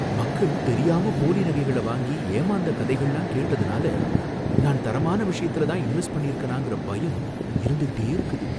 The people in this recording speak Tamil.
மக்கள் தெரியாம போலி நகைகள வாங்கி ஏமாந்த கதைகளல்லாம் கேட்ததுனால, நான் தரமான விஷயத்துலதான் இன்வெஸ்ட் பண்ணியிருக்கிறனாங்கற பயம் இருந்துகிட்டே இருக்குது.